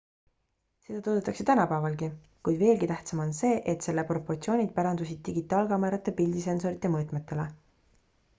seda toodetakse tänapäevalgi kuid veelgi tähtsam on see et selle propotsioonid pärandusid digitaalkaamerate pildisensorite mõõtmetele